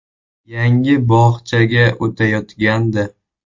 Yangi bog‘chaga o‘tayotgandi.